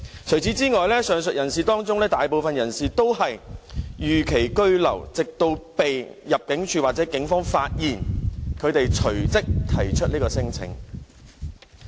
除此之外，上述人士當中，大部分都是逾期居留，直到被入境處或警方發現，他們才隨即提出免遣返聲請。